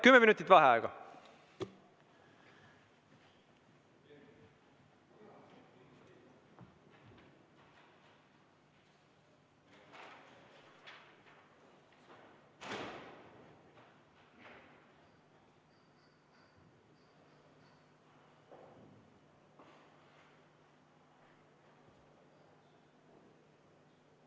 Kümme minutit vaheaega.